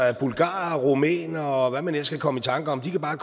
at bulgarere rumænere og hvad man ellers kan komme i tanker om bare